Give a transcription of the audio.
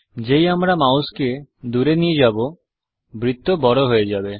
যেই আমরা মাউসকে দুরে নিয়ে যাব বৃত্ত বড় হয়ে যাবে